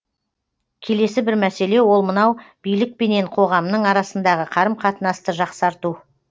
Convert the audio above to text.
келесі бір мәселе ол мынау билік пенен қоғамның арасындағы қарым қатынасты жақсарту